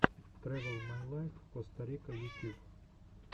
трэвэл май лайф коста рика ютьюб